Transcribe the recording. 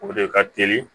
O de ka teli